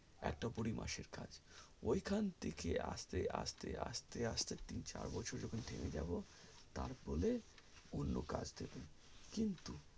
একেবারে তিন চার মাস পর ঐখান থেকে আসতে আসতে আসতে আসতে আসতে তিন চার বছর যখন থেমে যাবো তার পর অন্ন কাজ দেখে নেবো কিন্তু